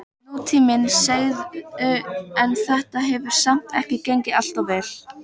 Nútíminn, segirðu, en þetta hefur samt ekki gengið alltof vel?